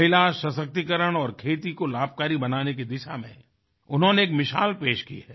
महिला सशक्तिकरण और खेती को लाभकारी बनाने की दिशा में उन्होंने एक मिसाल पेश की है